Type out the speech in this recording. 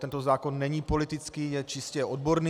Tento zákon není politický, je čistě odborný.